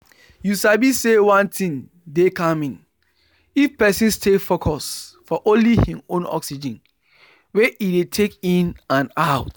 you sabi say one thing dey calming if person stay focus for only hin own oxygen wey e dey take in and out.